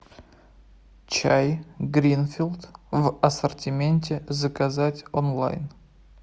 чай гринфилд в ассортименте заказать онлайн